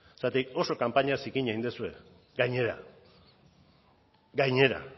zergatik oso kanpaina zikina egin duzue gainera gainera